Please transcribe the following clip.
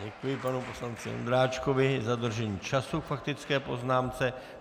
Děkuji panu poslanci Ondráčkovi za dodržení času k faktické poznámce.